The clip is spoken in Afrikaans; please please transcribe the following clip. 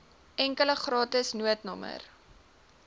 enkele gratis noodnommer